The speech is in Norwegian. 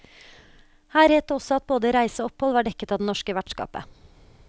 Her het det også at både reise og opphold var dekket av det norske vertskapet.